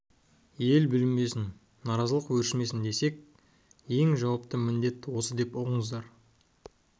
ел бүлінбесін наразылық өршімесін десек міне ең жауапты міндет деп осыны ұғыңыздар